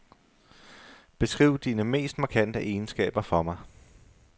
Beskriv dine mest markante egenskaber for mig.